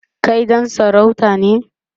Kai ɗan sarauta ne?